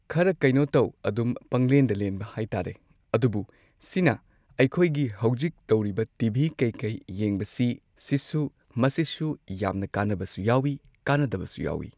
ꯈꯔ ꯀꯩꯅꯣ ꯇꯧ ꯑꯗꯨꯝ ꯄꯪꯂꯦꯟꯗ ꯂꯦꯟꯕ ꯍꯥꯏꯇꯥꯔꯦ ꯑꯗꯨꯕꯨ ꯁꯤꯅ ꯑꯩꯈꯣꯏꯒꯤ ꯍꯧꯖꯤꯛ ꯇꯧꯔꯤꯕ ꯇꯤ. ꯚꯤ ꯀꯩ ꯀꯩ ꯌꯦꯡꯕꯁꯤ ꯁꯤꯁꯨ ꯃꯁꯤꯁꯨ ꯌꯥꯝꯅ ꯀꯥꯟꯅꯕꯁꯨ ꯌꯥꯎꯏ ꯀꯥꯟꯅꯗꯕꯁꯨ ꯌꯥꯎꯏ꯫